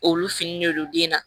Olu finen de don den na